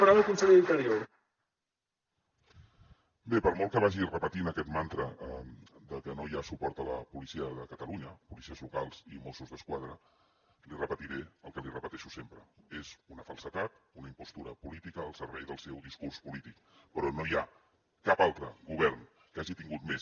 bé per molt que vagi repetint aquest mantra que no hi ha suport a la policia de catalunya policies locals i mossos d’esquadra li repetiré el que li repeteixo sempre és una falsedat una impostura política al servei del seu discurs polític però no hi ha cap altre govern que hagi tingut més